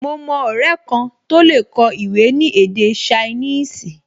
Mo mọ ọrẹ kan tó lè kọ ìwé ní èdè ṣainíìsì